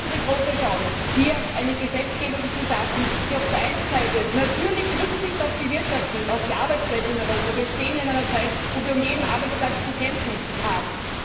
Wir haben die große Chance, hier eine Gesetzgebung zu schaffen, die auf der einen Seite natürlich Rücksicht auf die Wirtschaft und auf die Arbeitsplätze in Europa nimmt. Wir stehen in einer Zeit, in der wir um jeden Arbeitsplatz zu kämpfen haben.